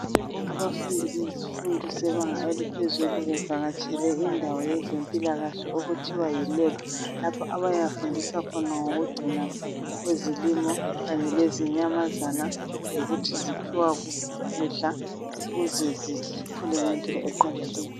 Abafundi bezifundo zebanga eliphezulu bevakatshele indawo yezempilakahle okuthiwa yilebhu lapha abayahambisa khona ngokungcinwa kwezilimo kanye lezinyamazana lokuthi ziphiwa kuphi ukudla ukuze zikhule ngendlela eqondileyo.